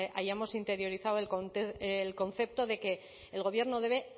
hayamos interiorizado el concepto de que el gobierno debe